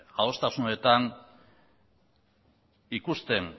adostasunetan ikusten